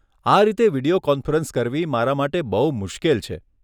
આ રીતે video conference કરવી મારા માટે બહુ મુશ્કેલ છે.